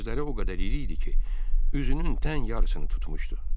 Gözləri o qədər iri idi ki, üzünün tən yarısını tutmuşdu.